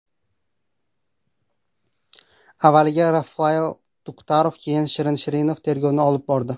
Avvaliga Rafail Tuktarov, keyin Shirin Shirinov tergovni olib bordi.